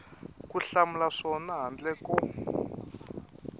ku hlamula swona handle ko